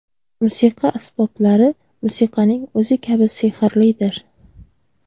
Musiqa asboblari musiqaning o‘zi kabi sehrlidir.